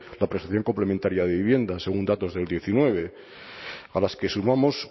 la prestación complementaria de vivienda según datos del diecinueve a las que sumamos